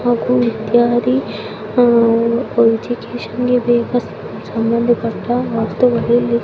ಹಾಗು ಇತ್ಯಾದಿ ವೈದ್ಯಕೀಯಕ್ಕೆ ಬೇಕಾಗುವ ವಸ್ತುಗಳು ಸಿಗುತ್ತವೆ--